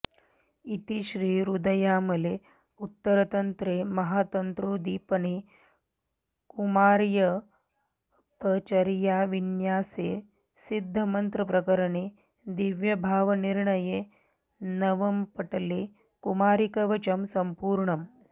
इति श्रीरुद्रयामले उत्तरतन्त्रे महातन्त्रोद्दीपने कुमार्युपचर्याविन्यासे सिद्धमन्त्रप्रकरणे दिव्यभावनिर्णये नवमपटले कुमारीकवचम् सम्पूर्णम्